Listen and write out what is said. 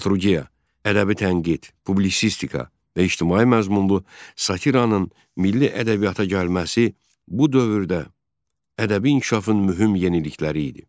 Dramaturgiya, ədəbi tənqid, publisistika və ictimai məzmunlu satiranın milli ədəbiyyata gəlməsi bu dövrdə ədəbi inkişafın mühüm yenilikləri idi.